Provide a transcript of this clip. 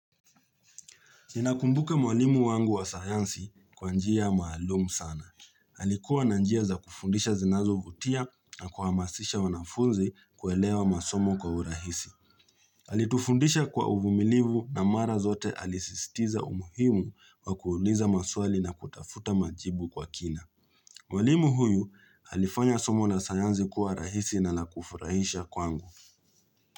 Ninakumbuka mwalimu wangu wa sayansi kwa njia maalumu sana. Alikuwa na njia za kufundisha zinazovutia na kuhamasisha wanafunzi kuelewa masomo kwa urahisi. Alitufundisha kwa uvumilivu na mara zote alisisitiza umuhimu wa kuuliza maswali na kutafuta majibu kwa kina. Mwalimu huyu alifanya somo la sayansi kwa rahisi na la kufurahisha kwangu.